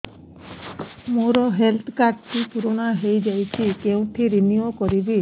ମୋ health card ଟି ପୁରୁଣା ହେଇଯାଇଛି କେଉଁଠି ରିନିଉ କରିବି